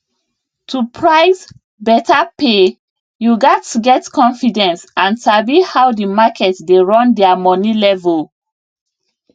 to price better pay you gats get confidence and sabi how the market dey run their money level